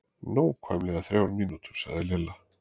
Nákvæmlega þrjár mínútur sagði Lilla.